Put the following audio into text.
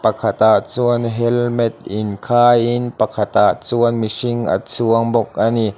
tah chuan helmet in khai in pakhatah chuan mihring a chuang bawk ani.